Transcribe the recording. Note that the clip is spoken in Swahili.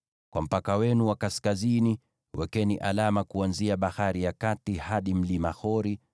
“ ‘Kwa mpaka wenu wa kaskazini, wekeni alama kuanzia Bahari ya Kati hadi mlima Hori,